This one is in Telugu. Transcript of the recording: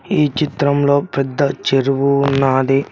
ఈ చిత్రం లో పెద్ద చెరువు ఉన్నాది.